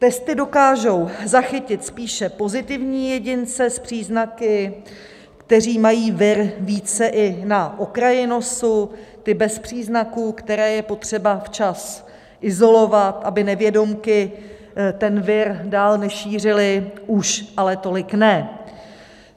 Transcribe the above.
Testy dokážou zachytit spíše pozitivní jedince s příznaky, kteří mají vir více i na okraji nosu, ty bez příznaků, které je potřeba včas izolovat, aby nevědomky ten vir dále nešířili, už ale tolik ne."